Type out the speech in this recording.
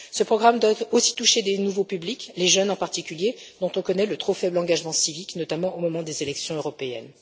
Ce programme doit aussi toucher de nouveaux publics, les jeunes en particulier, dont on connaît le trop faible engagement civique, notamment au moment des élections européennes.